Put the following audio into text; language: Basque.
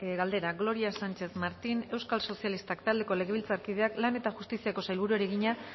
galdera gloria sánchez martín euskal sozialistak taldeko legebiltzarkideak lan eta justiziako sailburuari egina